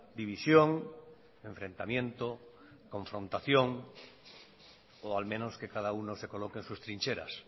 división enfrentamiento confrontación o al menos que cada uno se coloque en sus trincheras